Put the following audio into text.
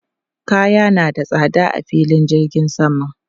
Kaya na da tsada a filin jirgin sama.